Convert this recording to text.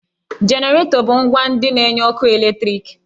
Jeneratọ bu ǹgwá ndị na-enye ọkụ eletriki